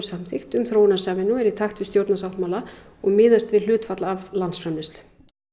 samþykkt um þróunarsamvinnu sem er í takt við og miðast við hlutfall af landsframleiðslu